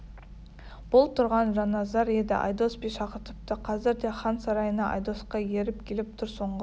бұл тұрған жанназар еді айдос би шақыртыпты қазір де хан сарайына айдосқа еріп келіп тұр соңғы